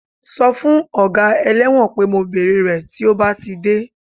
Sọ fún ọga ẹlẹ́wọ̀n pé mo bèrè rẹ̀ tí ó bá ti dé